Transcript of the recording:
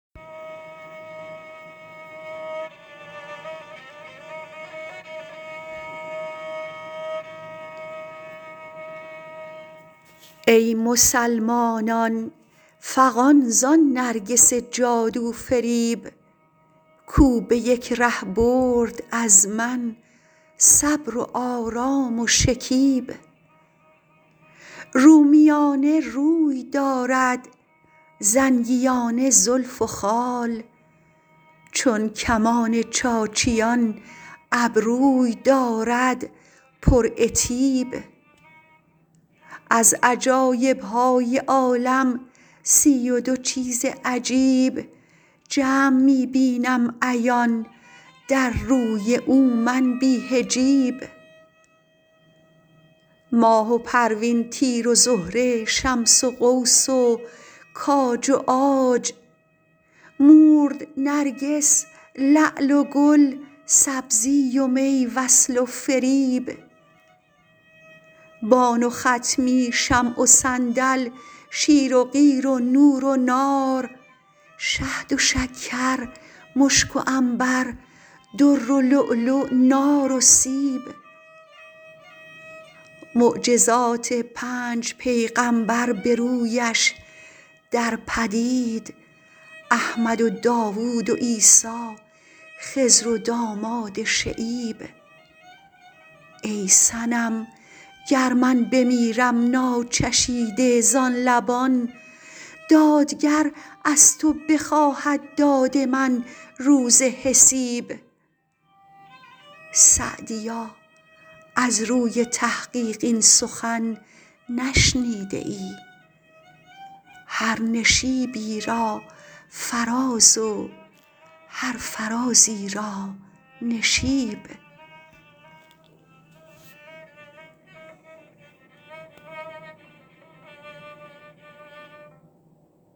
ای مسلمانان فغان زان نرگس جادو فریب کو به یک ره برد از من صبر و آرام و شکیب رومیانه روی دارد زنگیانه زلف و خال چون کمان چاچیان ابروی دارد پرعتیب از عجایب های عالم سی و دو چیز عجیب جمع می بینم عیان در روی او من بی حجیب ماه و پروین تیر و زهره شمس و قوس و کاج و عاج مورد و نرگس لعل و گل سبزی و می وصل و فریب بان و خطمی شمع و صندل شیر و قیر و نور و نار شهد و شکر مشک و عنبر در و لؤلؤ نار و سیب معجزات پنج پیغمبر به رویش در پدید احمد و داود و عیسی خضر و داماد شعیب ای صنم گر من بمیرم ناچشیده زان لبان دادگر از تو بخواهد داد من روز حسیب سعدیا از روی تحقیق این سخن نشنیده ای هر نشیبی را فراز و هر فرازی را نشیب